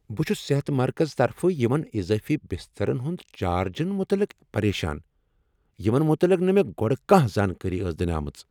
بہٕ چھس صحت مرکزٕ طرفہٕ یمن اضٲفی بسترن ہنٛد چارجزن متعلق پریشان یمن متعلق نہٕ مےٚ گۄڑٕ کانٛہہ زانٛکٲری ٲس دنہٕ آمٕژ۔